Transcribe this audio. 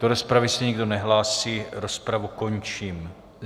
Do rozpravy se nikdo nehlásí, rozpravu končím.